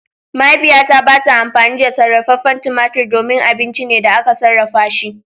Mahaifiyata ba ta amfani da sarrafen tumatur domin abinci ne da aka sarrafa shi.